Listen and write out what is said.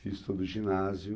Fiz todo o ginásio.